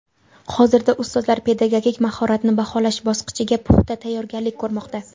Hozirda ustozlar pedagogik mahoratni baholash bosqichiga puxta tayyorgarlik ko‘rmoqda.